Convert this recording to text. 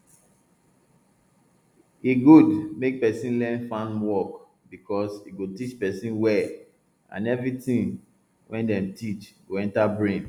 e good make person learn farm work because e go teach person well and everything wey dem teach go enter brain